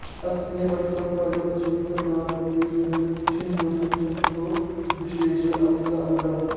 अ॒स्मे व॒त्सं परि॒ षन्तं॒ न वि॑न्दन्नि॒च्छन्तो॒ विश्वे॑ अ॒मृता॒ अमू॑राः